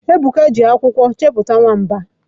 Ebuka ji ọrụ akwụkwọ chepụta nwamba